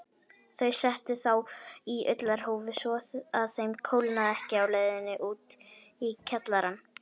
Þau settu þá í ullarhúfur svo að þeim kólnaði ekki á leiðinni út í kjallarann.